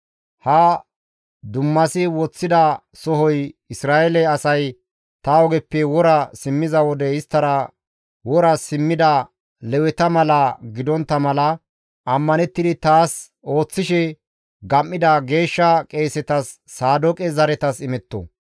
Ha dummasi woththida sohoy Isra7eele asay ta ogeppe wora simmiza wode isttara wora simmida Leweta mala gidontta mala ammanettidi taas ooththishe gam7ida geeshsha qeesetas Saadooqe zaretas imetto.